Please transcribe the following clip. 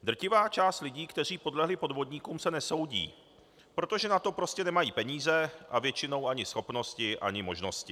Drtivá část lidí, kteří podlehli podvodníkům, se nesoudí, protože na to prostě nemají peníze a většinou ani schopnosti ani možnosti.